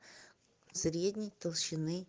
средний толщены